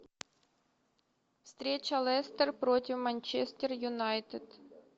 встреча лестер против манчестер юнайтед